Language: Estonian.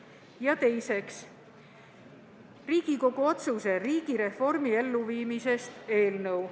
Ja teiseks on Riigikogu otsuse "Riigireformi elluviimisest" eelnõu.